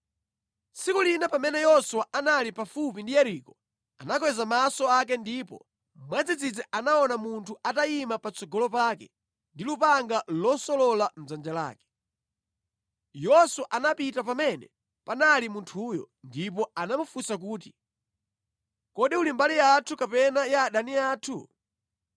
Tsiku lina pamene Yoswa anali pafupi ndi Yeriko, anakweza maso ake ndipo mwadzidzidzi anaona munthu atayima patsogolo pake ndi lupanga losolola mʼdzanja lake. Yoswa anapita pamene panali munthuyo ndipo anamufunsa kuti, “Kodi uli mbali yathu kapena ya adani athu?”